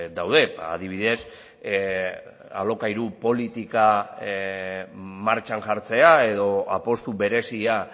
daude adibidez alokairu politika martxan jartzea edo apustu berezia